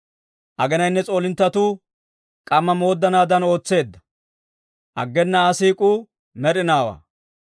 Aginayinne s'oolinttetuu k'amma mooddanaadan ootseedda; aggena Aa siik'uu med'inaawaa.